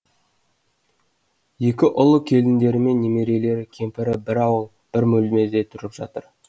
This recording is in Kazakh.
екі ұлы келіндерімен немерелері кемпірі бір ауыл бір бөлмеде тұрып жатыр